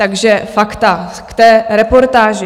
Takže fakta k té reportáži.